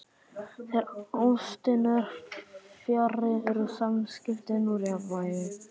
Þegar ástin er fjarri eru samskiptin úr jafnvægi.